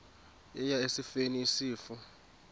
eya esifeni isifo